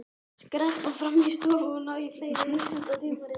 Skreppa fram í stofu og ná í fleiri vísindatímarit.